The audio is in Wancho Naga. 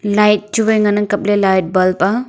light chu wai ngan ang kaple light bulb a.